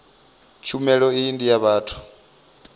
tshumelo iyi ndi ya vhathu